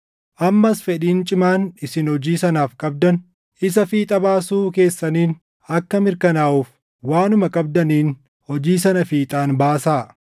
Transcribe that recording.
Ammas fedhiin cimaan isin hojii sanaaf qabdan isa fiixa baasuu keessaniin akka mirkanaaʼuuf waanuma qabdaniin hojii sana fiixaan baasaa.